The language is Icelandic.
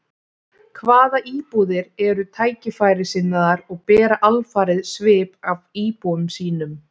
Hvað íbúðir eru tækifærissinnaðar og bera alfarið svip af íbúum sínum.